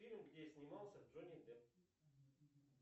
фильмы где снимался джонни депп